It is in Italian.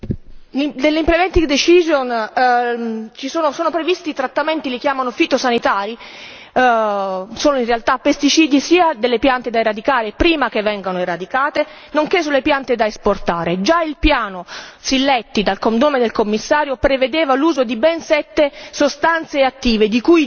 Nella decisione di esecuzione sono previsti trattamenti, li chiamano fitosanitari, sono in realtà pesticidi sia delle piante da eradicare prima che vengano eradicate nonché sulle piante da esportare. Già il piano Silletti, dal nome del Commissario, prevedeva l'uso di ben sette sostanze attive, due